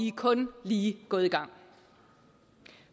er kun lige gået i gang